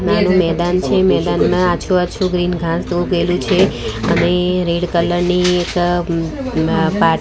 નાનુ મેદાન છે મેદાનમાં આછુ-આછુ ગ્રીન ઘાસ ઊગેલુ છે અને રેડ કલર ની એક પા --